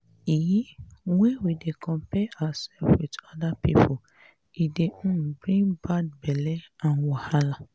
um when we dey compare ourself with oda pipo e dey um bring bad belle and wahala